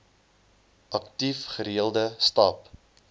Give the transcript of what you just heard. aktief gereelde stap